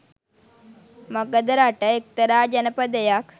මගධ රට එක්තරා ජනපදයක්